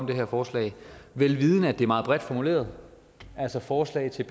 det her forslag vel vidende at det er meget bredt formuleret altså forslag til